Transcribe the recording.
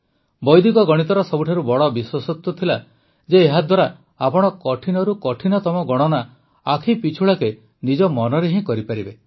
ବୈଦିକ ଗଣିତର ସବୁଠାରୁ ବଡ଼ ବିଶେଷତ୍ୱ ଥିଲା ଯେ ଏହାଦ୍ୱାରା ଆପଣ କଠିନରୁ କଠିନତମ ଗଣନା ଆଖିପିଛୁଳାକେ ନିଜ ମନରେ ହିଁ କରିପାରିବେ